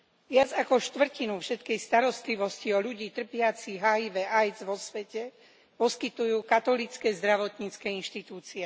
Viac ako štvrtinu všetkej starostlivosti o ľudí trpiacich HIV a AIDS vo svete poskytujú katolícke zdravotnícke inštitúcie.